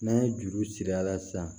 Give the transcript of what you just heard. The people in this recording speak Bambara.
N'an ye juru siri a la sisan